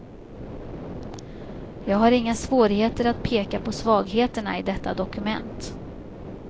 Jag har inga svårigheter att peka på svagheterna i detta dokument.